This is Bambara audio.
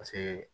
Paseke